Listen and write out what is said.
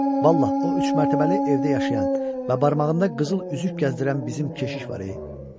Vallah o üçmərtəbəli evdə yaşayan və barmağında qızıl üzük gəzdirən bizim keşiş var e!